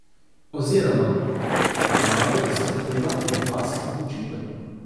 Oziroma, Maru zahteva od vas odločitev.